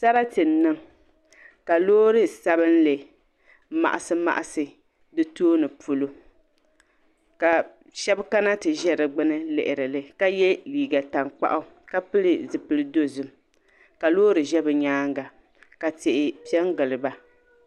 Sarati n niŋ ka loori sabinli maɣasi maɣasi di tooni polo ka sheba kana ti zaua lihirili ka ye liiga tankpaɣu ka pili zipil'dozim ka loori ʒɛ bɛ nyaanga ka tihi piɛngili ba.